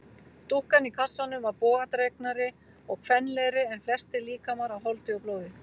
Dúkkan í kassanum var bogadregnari og kvenlegri en flestir líkamar af holdi og blóði.